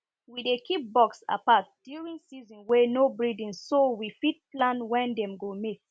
we dey keep bucks apart during season wey no breeding so we fit plan when dem go mate